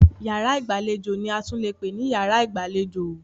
Yàrá ìgbàlejò ni a tún leè pè ní yàrá ìgbàlejò.